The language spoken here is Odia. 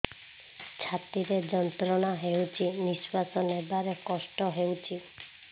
ଛାତି ରେ ଯନ୍ତ୍ରଣା ହେଉଛି ନିଶ୍ଵାସ ନେବାର କଷ୍ଟ ହେଉଛି